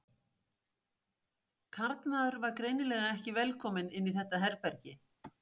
Karlmaður var greinilega ekki velkominn inn í þetta herbergi.